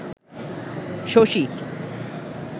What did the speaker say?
Shashi